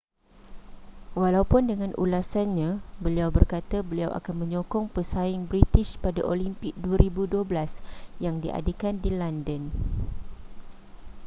walaupun dengan ulasannya beliau berkata beliau akan menyokong pesaing british pada olimpik 2012 yang diadakan di london